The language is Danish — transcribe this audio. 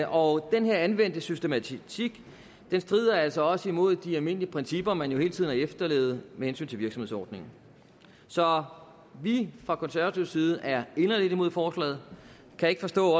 og den her anvendte systematik strider altså også imod de almindelige principper man jo hele tiden har efterlevet med hensyn til virksomhedsordningen så vi fra konservativ side er inderligt imod forslaget og kan ikke forstå